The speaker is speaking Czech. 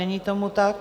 Není tomu tak.